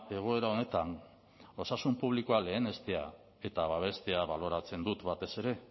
egoera honetan osasun publikoa lehenestea eta babestea baloratzen dut batez ere